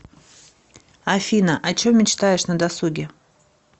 афина о чем мечтаешь на досуге